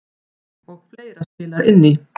Og fleira spilar inn í.